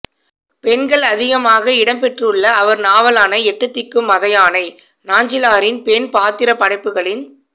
பெண்கள் அதிகமாக இடம் பெற்றுள்ள அவர் நாவலான எட்டுத்திக்கும் மதயானை நாஞ்சிலாரின் பெண் பாத்திரப்படைப்புகளின்